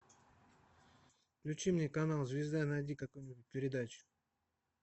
включи мне канал звезда найди какую нибудь передачу